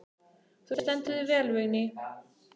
Þú stendur þig vel, Vigný!